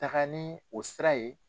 Taga ni o sira ye.